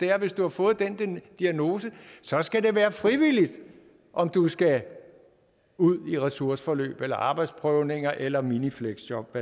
er at hvis du har fået den diagnose så skal det være frivilligt om du skal ud i ressourceforløb eller arbejdsprøvninger eller minifleksjob